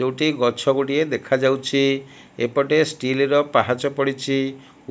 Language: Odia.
ଯୋଉଠି ଗଛ ଗୁଡ଼ିଏ ଦେଖାଯାଉଛି ଏପଟେ ଷ୍ଟିଲ ର ପାହାଚ ପଡ଼ିଚି